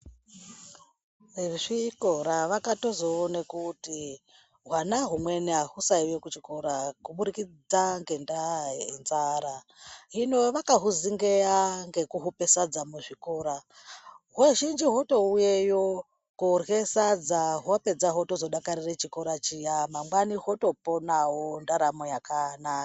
Vezvikora vakatozoona kuti hwana humweni ahusaiuya kuchikora kubudikidza ngendaa yenzara hino vakahuzingeya ngekuhupe sadza muzvikora, huzhinji hwotouyeyo koorhya sadza hwapedza hwozotodakarire kuuye kuchikora chiya mangwani hwotoponawo ndaramo yakanaka.